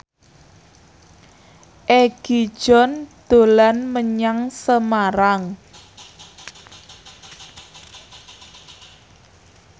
Egi John dolan menyang Semarang